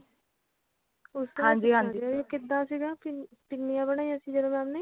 ਉਸ ਦਾ ਪੁੱਛਣਾ ਸਿਗਾ ਕਿਦਾ ਸਿਗਾ ਪਿਨਿਆਂ ਬਣਾਇਆ ਜਦੋ mam ਨੇ